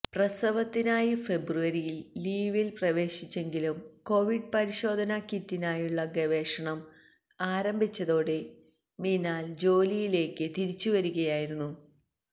പ്രസവത്തിനായി ഫെബ്രുവരിയില് ലീവില് പ്രവേശിച്ചെങ്കിലും കോവിഡ് പരിശോധനാ കിറ്റിനായുള്ള ഗവേഷണം ആരംഭിച്ചതോടെ മിനാല് ജോലിയിലേക്ക് തിരിച്ചുവരികയായിരുന്നു